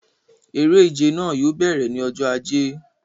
Eré ìje náà yóò bẹ̀rẹ̀ ní ọjọ ajé